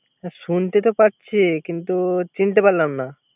হ্যা শুনতে তো পারছি কিন্ত চিনতে পারলাম না